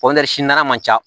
man ca